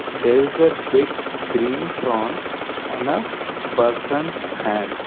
there is a big green prawn on a person's hand.